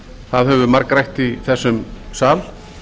það hefur verið margrætt í þessum sal